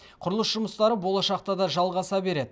құрылыс жұмыстары болашақта да жалғаса береді